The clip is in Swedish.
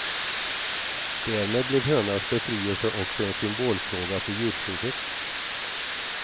Därmed blev hönans befrielse också en symbolfråga för djurskyddet.